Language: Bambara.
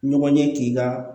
Ɲɔgɔn ye k'i ka